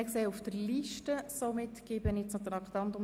Es sind keine Wortmeldungen eingegangen.